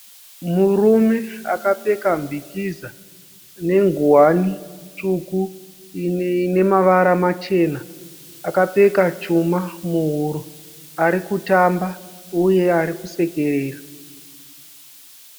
Murume akapfeka mbikiza , nengowani tsvuku inemavara machena akapfeka chuma muhuro arikuramba uye arikusekerera.